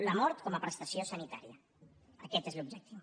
la mort com a prestació sanitària aquest és l’objectiu